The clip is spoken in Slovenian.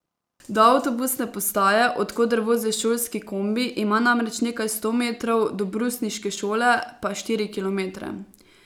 Do avtobusne postaje, od koder vozi šolski kombi, ima namreč nekaj sto metrov, do brusniške šole pa štiri kilometre.